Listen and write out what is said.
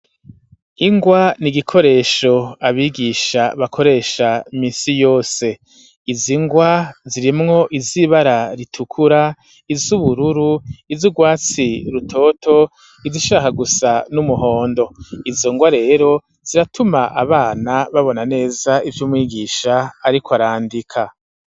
Ingwa ni igikoresho abigisha bakoresha misi yose izo ingwa zirimwo izibara ritukura izo ubururu izo urwatsi rutoto izi ishaka gusa n'umuhondo izo ngwa rero ziratuma abana babona neza ivyo umwigisha, ariko arandika.